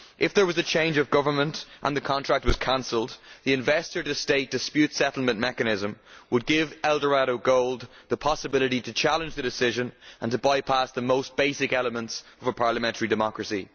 If there was a change of government and the contract was cancelled, the investor state dispute settlement mechanism would give Eldorado Gold the possibility to challenge the decision and to bypass the most basic elements of parliamentary democracy.